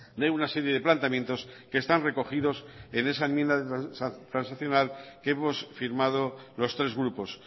de una serie de planteamientos que están recogidos en esa enmienda transaccional que hemos firmado los tres grupos